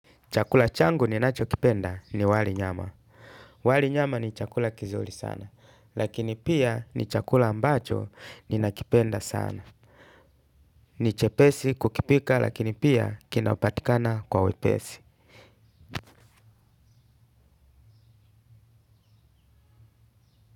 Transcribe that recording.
Chakula changu ni nacho kipenda ni wali nyama. Wali nyama ni chakula kizuri sana. Lakini pia ni chakula ambacho ninakipenda sana. Ni chepesi kukipika lakini pia kinapatikana kwa wepesi.